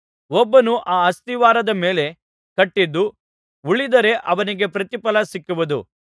ಒಬ್ಬನು ಆ ಅಸ್ತಿವಾರದ ಮೇಲೆ ಕಟ್ಟಿದ್ದು ಉಳಿದರೆ ಅವನಿಗೆ ಪ್ರತಿಫಲ ಸಿಕ್ಕುವುದು